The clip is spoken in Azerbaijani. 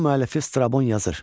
Yunan müəllifi Strabon yazır: